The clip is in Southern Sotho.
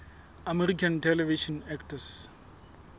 american television actors